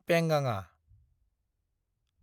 पेंगाङा